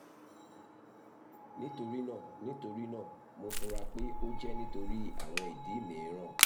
nitorina nitorina mo fura pe o jẹ nitori awọn idi miiran